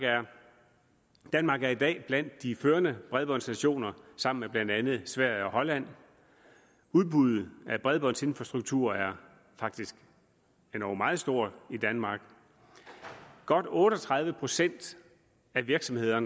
danmark er i dag blandt de førende bredbåndsnationer sammen med blandt andet sverige og holland udbuddet af bredbåndsinfrastruktur er faktisk endog meget stort i danmark godt otte og tredive procent af virksomheder